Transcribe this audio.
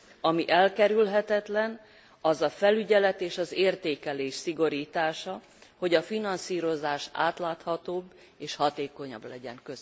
Ami elkerülhetetlen, az a felügyelet és az értékelés szigorítása, hogy a finanszírozás átláthatóbb és hatékonyabb legyen.